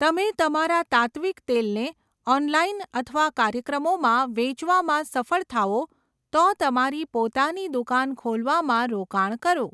તમે તમારા તાત્ત્વિક તેલને ઓનલાઇન અથવા કાર્યક્રમોમાં વેચવામાં સફળ થાઓ, તો તમારી પોતાની દુકાન ખોલવામાં રોકાણ કરો.